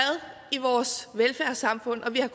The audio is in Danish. i vores velfærdssamfund og vi har